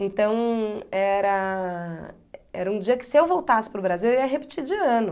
Então, era era um dia que se eu voltasse para o Brasil, eu ia repetir de ano.